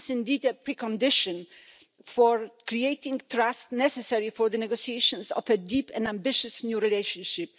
This is indeed a precondition for creating the trust necessary for the negotiations of a deep and ambitious new relationship.